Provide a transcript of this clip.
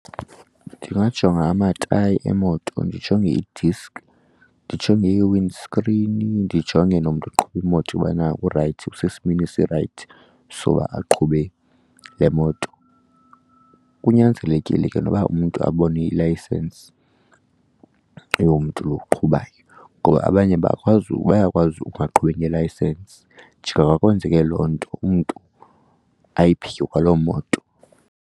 Ndingajonga amatayi emoto, ndijonge i-disk, ndijonge i-windscreen, ndijonge nomntu oqhuba imoto ubana urayithi, usesimeni esirayithi soba aqhube le moto. Kunyanzelekile ke noba umntu abone ilayisensi yomntu lo uqhubayo ngoba abanye bakwazi bayakwazi ukungaqhubi ngeeelayisensi, njengoba kwenzeke loo nto umntu ayiphike kwaloo moto.